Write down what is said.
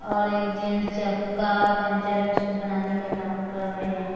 और एक जेंट्स चक्का पंक्चर है उसको बनाने का काम कर रहे हैं।